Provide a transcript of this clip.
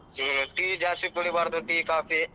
Tea ಜಾಸ್ತಿ ಕೂಡಿಬಾರ್ದು tea, coffee .